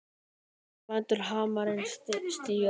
Hann lætur hamarinn síga.